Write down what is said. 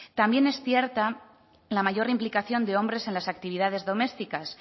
también es cierta la mayor implicación de hombres en las actividades domésticas